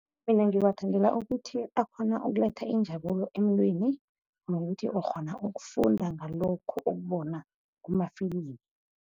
Mina ngiwathandela ukuthi akghona ukuletha injabulo emntwini, nokuthi ukghona ukufunda ngalokhu ukubona kumafilimu.